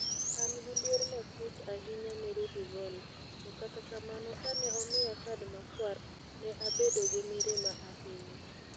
An gi luor matut ahinya ne Rudi Voller, to kata kamano kane omiya kad makwar, ne abedo gi mirima ahinya.